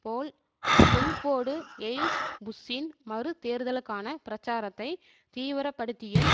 போல் Colford எய்ல்ஸ் புஷ்ஷின் மறுதேர்தலுக்கான பிரச்சாரத்தை தீவிரப்படுத்தியும்